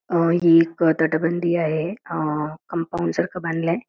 ही एक तटबंदी आहे कॉपम्पाउंड आ सारखं बांधलाय--